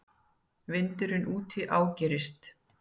Vindurinn úti ágerist.